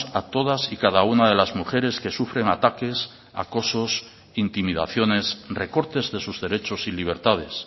a todas y cada una de las mujeres que sufren ataques acosos intimidaciones recortes de sus derechos y libertades